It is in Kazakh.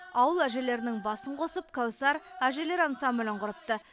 ауыл әжелерінің басын қосып кәусар әжелер ансамблін құрыпты